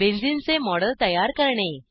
benzene चे model तयार करणे